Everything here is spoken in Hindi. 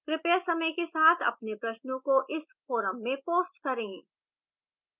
कृपया समय के साथ अपने प्रश्नों को इस forum में post करें